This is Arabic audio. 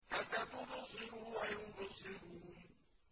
فَسَتُبْصِرُ وَيُبْصِرُونَ